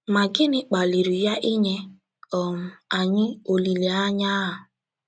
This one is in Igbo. Ma, gịnị kpaliri ya inye um anyị olileanya a?